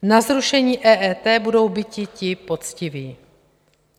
Na zrušení EET budou biti ti poctiví.